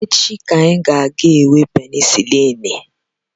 Echi ka anyị ga-ga-enwe penisilin